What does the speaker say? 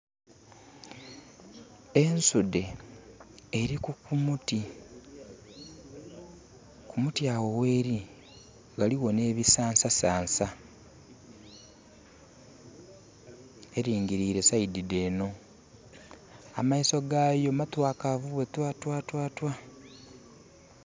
Ensude eri ku muti, ku muti agho gheri ghaligho ne bisansa sansa. Eringilire saidi dh'eno amaiso gayo matwakavu bwe twatwatwatwa